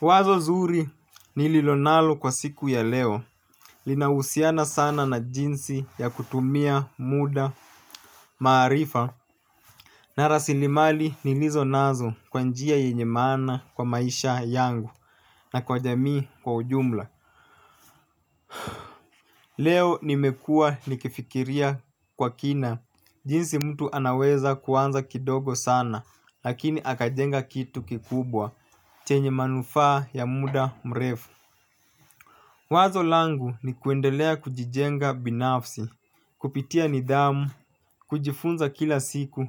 Wazo zuri nililonalo kwa siku ya leo, linahusiana sana na jinsi ya kutumia muda, maarifa na rasilimali nilizonazo kwa njia yenye maana kwa maisha yangu na kwa jamii kwa ujumla. Leo nimekua nikifikiria kwa kina, jinsi mtu anaweza kuanza kidogo sana. Lakini akajenga kitu kikubwa, chenye manufaa ya muda mrefu. Wazo langu ni kuendelea kujijenga binafsi, kupitia nidhamu, kujifunza kila siku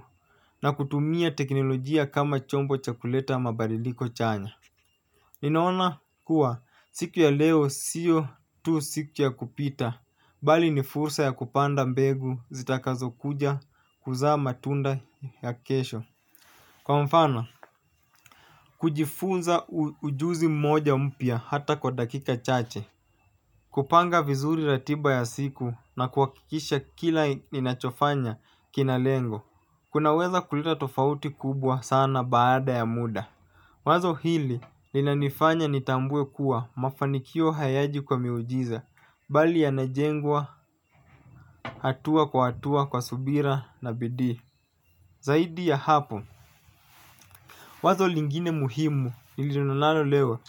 na kutumia teknolojia kama chombo cha kuleta mabadiliko chanya. Ninaona kuwa siku ya leo siyo tu siku ya kupita, bali ni fursa ya kupanda mbegu zitakazo kuja kuzaa matunda ya kesho. Kwa mfano, kujifunza ujuzi mmoja mpya hata kwa dakika chache kupanga vizuri ratiba ya siku na kuhakikisha kila ninachofanya kina lengo kunaweza kuleta tofauti kubwa sana baada ya muda. Wazo hili, linanifanya nitambue kuwa mafanikio hayaji kwa miujiza. Bali yanajengwa, hatua kwa hatua kwa subira na bidii. Zaidi ya hapo. Wazo lingine muhimu nililonalo leo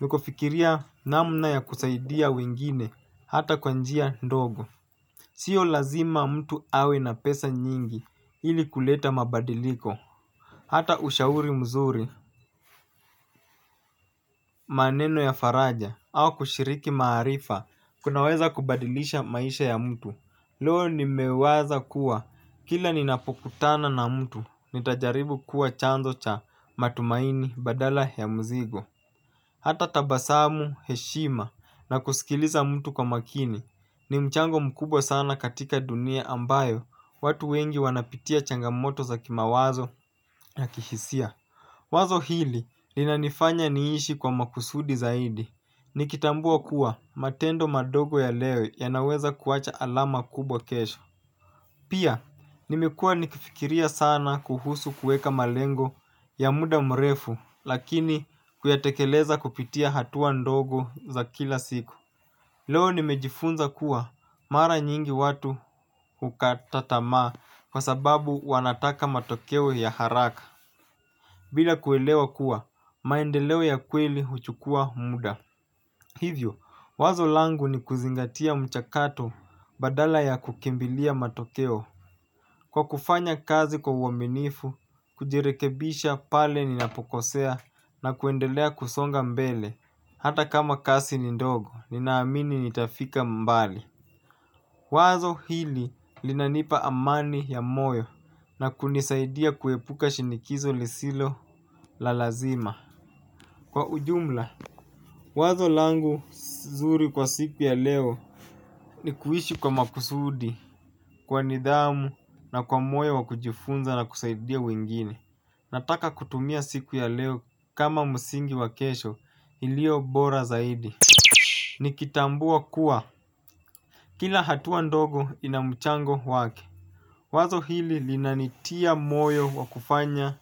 nakofikiria namna ya kusaidia wengine hata kwa njia ndogo. Sio lazima mtu awe na pesa nyingi ili kuleta mabadiliko. Hata ushauri mzuri maneno ya faraja au kushiriki maarifa kunaweza kubadilisha maisha ya mtu. Loo nimewaza kuwa kila ninapokutana na mtu nitajaribu kuwa chanzo cha matumaini badala ya mzigo. Hata tabasamu, heshima na kusikiliza mtu kwa makini ni mchango mkubwa sana katika dunia ambayo watu wengi wanapitia changamoto za kimawazo na kihisia. Wazo hili linanifanya niishi kwa makusudi zaidi. Nikitambua kuwa matendo madogo ya leo ya lnaweza kuacha alama kubwa kesho. Pia nimekua nikifikiria sana kuhusu kueka malengo ya muda mrefu. Lakini kuyatekeleza kupitia hatua ndogo za kila siku. Leo nimejifunza kuwa mara nyingi watu hukata tamaa. Kwa sababu wanataka matokeo ya haraka. Bila kuelewa kuwa maendeleo ya kweli huchukua muda. Hivyo wazo langu ni kuzingatia mchakato badala ya kukimbilia matokeo. Kwa kufanya kazi kwa uaminifu, kujirekebisha pale ninapokosea na kuendelea kusonga mbele, hata kama kasi ni ndogo, ninaamini nitafika mbali. Wazo hili linanipa amani ya moyo na kunisaidia kuepuka shinikizo lisilo la lazima. Kwa ujumla, wazo langu si zuri kwa siku ya leo ni kuishi kwa makusudi, kwa nidhamu na kwa moyo wa kujifunza na kusaidia wengine. Nataka kutumia siku ya leo kama msingi wa kesho iliyo bora zaidi. Nikitambua kuwa kila hatua ndogo ina mchango wake. Wazo hili linanitia moyo wa kufanya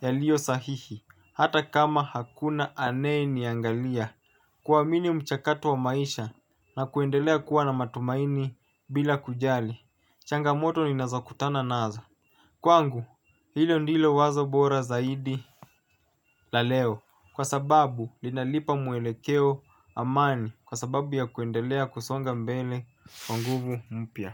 yaliyo sahihi hata kama hakuna anayeniangalia. Kuamini mchakato wa maisha na kuendelea kuwa na matumaini bila kujali changamoto ninazokutana nazo. Kwangu hilo ndilo wazo bora zaidi la leo. Kwa sababu linalipa mwelekeo amani kwa sababu ya kuendelea kusonga mbele kwa nguvu mpya.